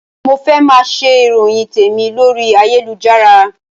Mo fẹ́ máa ṣe ìròyìn tèmi lórí ayélujára